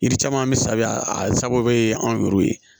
Yiri caman bɛ sabiya a sababu ye anw yɛrɛw ye